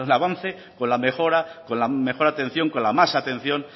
avance con la mejora con la mejor atención con la más atención